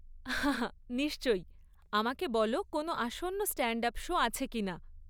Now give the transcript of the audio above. হা হা নিশ্চয়ই! আমাকে বল কোনও আসন্ন স্ট্যান্ড আপ শো আছে কিনা।